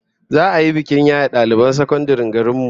Za'a yi bikin yaye daliban sakandaren garin mu